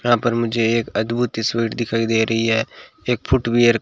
यहां पर मुझे एक अद्भुत तस्वीर दिखाई दे रही है एक फुटवियर --